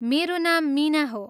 मेरो नाम मिना हो।